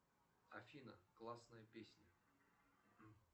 афина классная песня